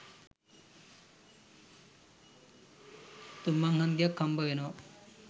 තුන් මං හන්දියක් හම්බවෙනවා.